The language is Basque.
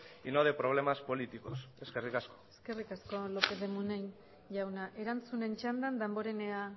y no de problemas políticos eskerrik asko eskerrik asko lópez de munain jauna erantzunen txandan damborenea